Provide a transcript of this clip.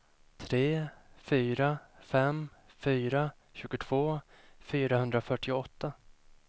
tre fyra fem fyra tjugotvå fyrahundrafyrtioåtta